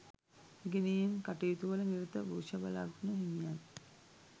ඉගෙනීම් කටයුතුවල නිරත වෘෂභ ලග්න හිමියන්